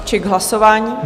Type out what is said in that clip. Či k hlasování?